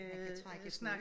Han kan trække på ik